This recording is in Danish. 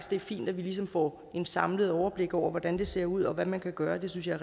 det er fint at vi ligesom får et samlet overblik over hvordan det ser ud og hvad man kan gøre det synes jeg